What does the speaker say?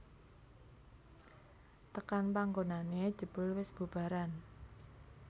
Tekan panggonané jebul wis bubaran